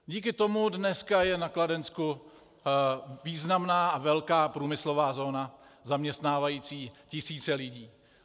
Díky tomu dneska je na Kladensku významná a velká průmyslová zóna zaměstnávající tisíce lidí.